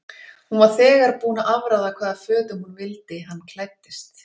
Hún var þegar búin að afráða hvaða fötum hún vildi hann klæddist.